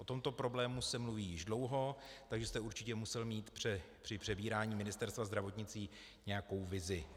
O tomto problému se mluví již dlouho, takže jste určitě musel mít při přebírání Ministerstva zdravotnictví nějakou vizi.